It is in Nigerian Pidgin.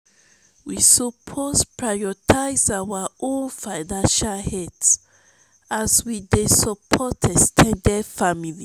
we suppose prioritize our own financial health as we dey support ex ten ded family.